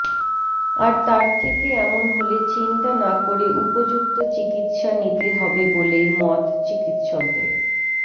আর তার থেকে এমন হলে চিন্তা না করে উপযুক্ত চিকিৎসা নিতে হবে বলেই মত চিকিৎসকদের